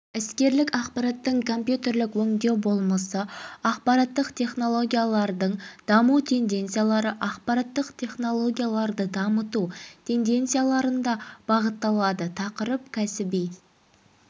іскерлік ақпараттың компьютерлік өңдеу болмысы ақпараттық технологиялардың даму тенденциялары ақпараттық технологияларды дамыту тенденцияларында бағытталады тақырып кәсіби